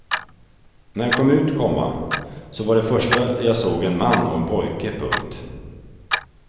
När jag kom ut, komma så var det första jag såg en man och en pojke. punkt